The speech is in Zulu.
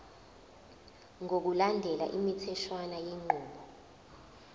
ngokulandela imitheshwana yenqubo